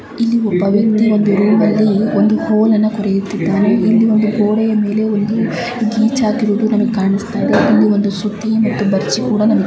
ಇಲ್ಲಿ ಒಬ್ಬ ವ್ಯಕ್ತಿ ರೂಮ್ ಅಲ್ಲಿ ಒಂದು ಹೋಲ್ ಅನ್ನು ಕೊರೆಯುತಿದ್ದರೆ ಇಲ್ಲಿ ಗೋಡೆಯ ಮೇಲೆ ಒಂದು ಗಿಚ್ ಹಾಕಿರುದೋ ನಂಗ್ ಕಾಣ್ಸತ ಇದೆ ಇಲ್ಲಿ ಒಂದು ಸುತ್ತಿ --